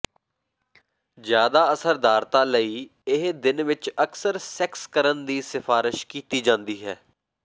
ਜ਼ਿਆਦਾ ਅਸਰਦਾਰਤਾ ਲਈ ਇਹ ਦਿਨ ਵਿੱਚ ਅਕਸਰ ਸੈਕਸ ਕਰਨ ਦੀ ਸਿਫਾਰਸ਼ ਕੀਤੀ ਜਾਂਦੀ ਹੈ